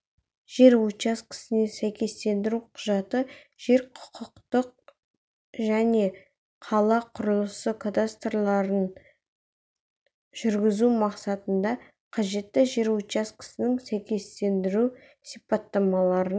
жер учаскесіне сәйкестендіру құжаты жер құқықтық және қала құрылысы кадастрларын жүргізу мақсатында қажетті жер учаскесінің сәйкестендіру сипаттамаларын